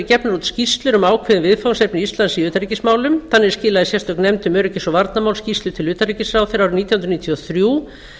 út skýrslur um ákveðið viðfangsefni íslands í utanríkismálum þannig skilaði íslensk nefnd um öryggis og varnarmál skýrslu til utanríkisráðherra árið nítján hundruð níutíu og þrjú